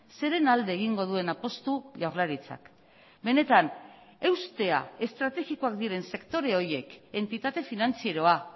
zeren alde egingo duen apustu jaurlaritzak benetan eustea estrategikoak diren sektore horiek entitate finantzieroa